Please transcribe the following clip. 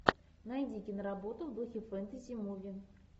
найди киноработу в духе фэнтези муви